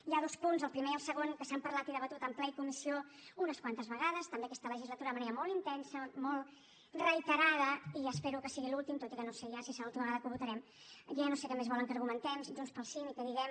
hi ha dos punts el primer i el segon que s’han parlat i debatut en ple i comissió unes quantes vegades també aquesta legislatura de manera molt intensa molt reiterada i espero que sigui l’última tot i que no sé ja si serà l’última vegada que ho votarem ja no sé què més volen que argumentem junts pel sí ni que diguem